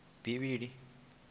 bivhilini